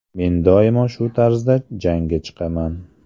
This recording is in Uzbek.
Men doimo shu tarzda jangga chiqaman.